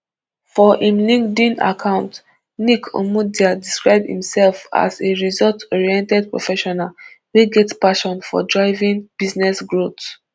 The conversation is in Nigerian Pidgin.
for im linkedin account nick imudia describe imsef as a resultsoriented professional wey get passion for driving business growth